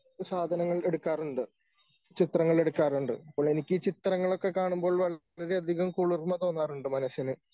സാധനങ്ങൾ എടുക്കാറുണ്ട്. ചിത്രങ്ങളെടുക്കാറുണ്ട് അപ്പോളെനിക്ക് ചിത്രങ്ങളോക്കെ കാണുമ്പോൾ വളരെയധികം കുളിർമ തോന്നാറുണ്ട് മനസ്സിന് .